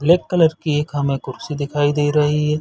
Black colour की एक हमें कुर्सी दिखाई दे रही है।